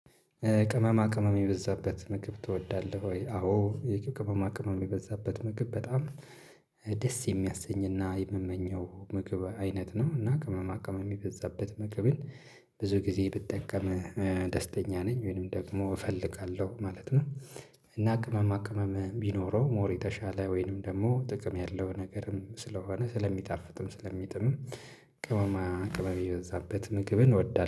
ቅመማ ቅመም የበዛበት ምግብ ትወዳለህ ወይ? አዎ ቅመማ ቅመም የበዛበት ምግብ በጣም የሚያሰኝና የምመኘው ምግብ አይነት ነው፤ እና ቅመማ ቅመም የሚበዛበት ምግብን ብዙ ጊዜ ብጠቀም ደስተኛ ነኝ ወይንም ደግሞ እፈልጋለሁ ማለት ነው እና ቅመማ ቅመም ቢኖረው ሞር የተሻለ ወይንም ደግሞ ጥቅም ያለው ነገርም ስለሆነ ስለሚጣፍጥም ስለሚጥምም ቅመማ ቅመም የበዛበት ምግብን እወዳለሁ።